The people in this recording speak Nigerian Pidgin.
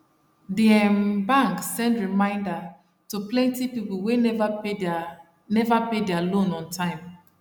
di um bank send reminder to plenty people wey never pay their never pay their loan on time